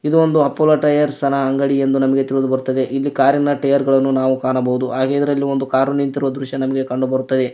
ಇದೊಂದು Apollo Tyres ನ ಅಂಗಡಿ ಎಂದು ತಿಳಿದು ಬರುತ್ತದೆ ಇಲ್ಲಿ ಕಾರಿನ ಟೈಯರ್ ಗಳನ್ನು ಕಾಣಬಹುದು ಹಾಗೆ ಇದರಲ್ಲಿ ಒಂದು ಕಾರು ನಿಂತಿರುವ ದೃಶ್ಯ ನಮಗೆ ಕಂಡು ಬರುತ್ತದೆ.